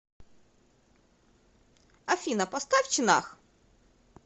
афина поставь чинах